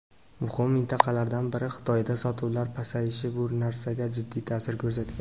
muhim mintaqalardan biri – Xitoyda sotuvlar pasayishi bu narsaga jiddiy ta’sir ko‘rsatgan.